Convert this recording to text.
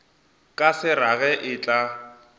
ka se rage e tla